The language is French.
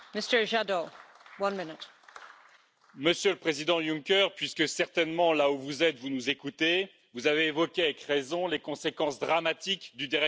Madame la Présidente, Monsieur le Président Juncker, puisque certainement là où vous êtes, vous nous écoutez, vous avez évoqué avec raison les conséquences dramatiques du dérèglement climatique.